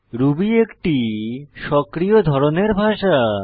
Ruby একটি সক্রিয় ধরনের ভাষা